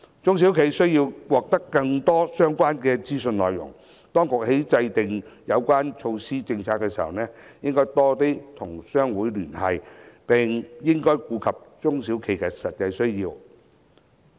中小企需要獲得更多相關的資訊，當局在制訂有關措施政策時，應多與商會聯繫，並應顧及中小企的實際需要。